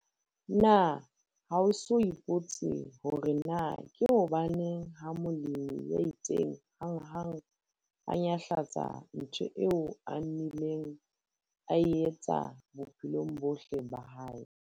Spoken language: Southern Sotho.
Na ha o eso ipotse hore na ke hobaneng ha molemi ya itseng hanghang a nyahlatsa ntgho eo a nnileng a e etsa bophelong bohle bah ae?